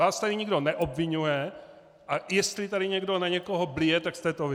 Vás tady nikdo neobviňuje, a jestli tady někdo na někoho blije, tak jste to vy!